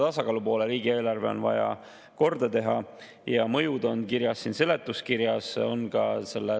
Täna on ju opositsioonis näha, et EKREIKE on taassündinud, need kolm erakonda on üksteist leidnud ja teevad siin uhkelt tublit koostööd EKRE esimehe kui opositsiooniliidri juhtimisel.